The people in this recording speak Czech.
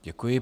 Děkuji.